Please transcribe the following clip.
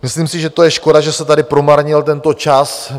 Myslím si, že to je škoda, že se tady promarnil tento čas.